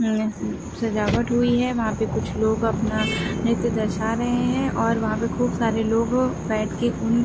सजावट हुई है। वहाँ पर कुछ लोग अपना नृत्य दर्शा रहे हैं और वहाँ पर खुब सारे लोग बैठे के उन --